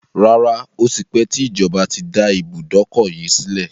Rárá, Ó ti pẹ tí ìjọba tí dá ibùdókọ̀ yìí sílẹ̀.